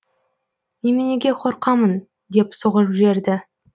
неменеге қорқамын деп соғып жіберді